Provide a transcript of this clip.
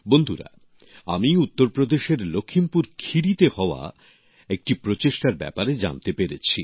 বন্ধুরা আমি উত্তরপ্রদেশের লখিমপুর খেরিতে হওয়া একটি প্রচেষ্টার ব্যাপারে জানতে পেরেছি